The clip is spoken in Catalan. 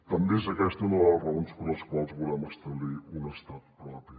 també és aquesta una de les raons per les quals volem establir un estat propi